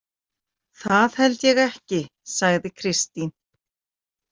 Það held ég ekki, sagði Kristín.